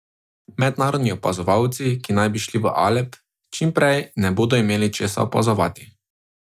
Mednarodni opazovalci, ki naj bi šli v Alep čim prej ne bodo imeli česa opazovati.